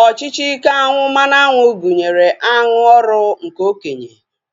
Ọchịchị ike aṅụ mmanụaṅụ gụnyere aṅụ ọrụ nke okenye,